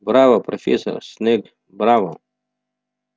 браво профессор снегг браво